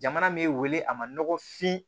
Jamana m'e wele a ma nɔgɔfin